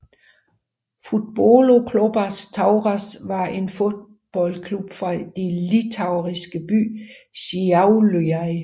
Futbolo Klubas Tauras var en fodboldklub fra den litauiske by Šiauliai